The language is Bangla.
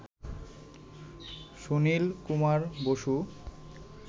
সুনীল কুমার বসু